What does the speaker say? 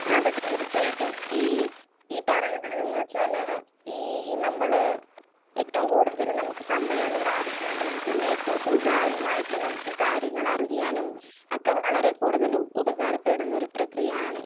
Speaker 1 അതെ അതെ തീർച്ചയായിട്ടും. ഈ പറയുന്നതെന്ന് വെച്ചാല് നമ്മള് ഈ നമ്മള് ഏറ്റവും കൂടതല് നമ്മക്ക് സമയം ലാഭിക്കാനും പിന്നെ ഏറ്റവും സുതാര്യമായിട്ടും നമ്മക്ക് കാര്യങ്ങളറിയാനും അതൊക്കെ വളരെ കൂടുതല് ഉപകാരപ്പെടുന്ന ഒരു പ്രക്രിയയാണ്.